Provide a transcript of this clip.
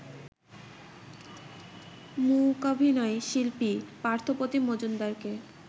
মূকাভিনয় শিল্পী পার্থপ্রতিম মজুমদারকে